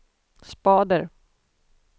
spader